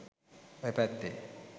ඔය පැත්තේ.